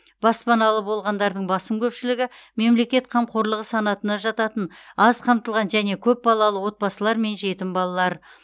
баспаналы болғандардың басым көпшілігі мемлекет қамқорлығы санатына жататын аз қамтылған және көпбалалы отбасылар мен жетім балалар